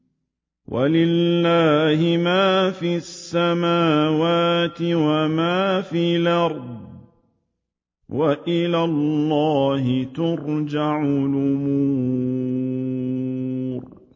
وَلِلَّهِ مَا فِي السَّمَاوَاتِ وَمَا فِي الْأَرْضِ ۚ وَإِلَى اللَّهِ تُرْجَعُ الْأُمُورُ